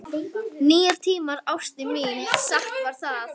Nýir tímar, ástin mín, satt var það.